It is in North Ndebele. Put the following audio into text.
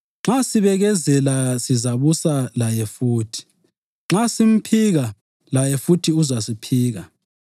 nxa sibekezela sizabusa laye futhi. Nxa simphika, laye futhi uzasiphika;